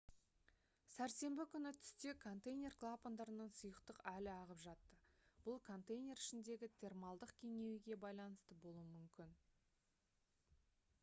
сәрсенбі күні түсте контейнер клапандарынан сұйықтық әлі ағып жатты бұл контейнер ішіндегі термалдық кеңеюге байланысты болуы мүмкін